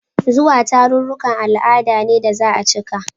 Zuwa tarurrukan al'ada ne da za a cika.